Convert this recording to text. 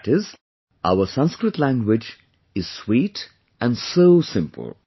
That is, our Sanskrit language is sweet and also simple